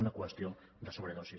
una qüestió de sobredosi